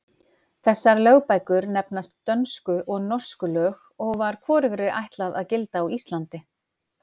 Þessar lögbækur nefnast Dönsku og Norsku lög og var hvorugri ætlað að gilda á Íslandi.